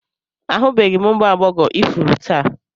Ahụbeghị m ụmụ agbọghọ ifuru taa